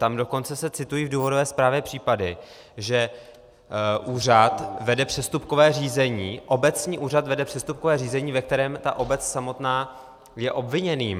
Tam dokonce se citují v důvodové zprávě případy, že úřad vede přestupkové řízení, obecní úřad vede přestupkové řízení, ve kterém ta obec samotná je obviněným.